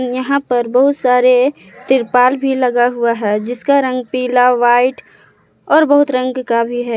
यहां पर बहुत सारे तिरपाल भी लगा हुआ है जिसका रंग पीला व्हाइट और बहुत रंग का भी है।